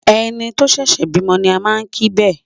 Ẹni tó ṣẹ̀ṣẹ̀ bímọ ni a máa kí bẹ́ẹ̀.